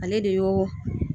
Ale de y'o